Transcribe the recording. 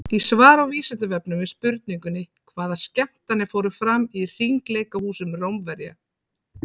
Í svari á Vísindavefnum við spurningunni Hvaða skemmtanir fóru fram í hringleikahúsum Rómverja?